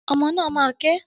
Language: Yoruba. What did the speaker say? Ọmọ náà máa ké.